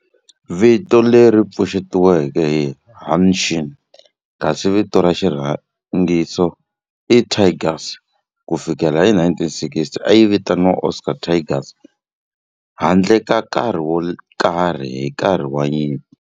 Vito leri pfuxetiweke i Hanshin kasi vito ra xirhangiso i Tigers. Ku fikela hi 1960, a yi vitaniwa Osaka Tigers handle ka nkarhi wo karhi hi nkarhi wa nyimpi.